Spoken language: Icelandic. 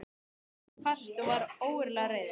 sagði hann hvasst og var ógurlega reiður.